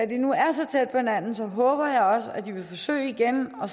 de nu er så tæt på hinanden håber jeg også at de vil forsøge igen og